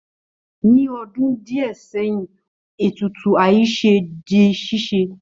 Ní ọdún díẹ̀ sẹ́yìn, ètùtù àìṣe di ṣíṣe